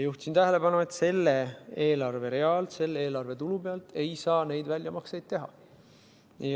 Juhtisin tähelepanu, et sellelt eelarverealt, selle eelarve tulu pealt ei saa neid väljamakseid teha.